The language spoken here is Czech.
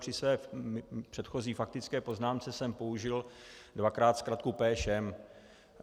Při své předchozí faktické poznámce jsem použil dvakrát zkratku PŠM.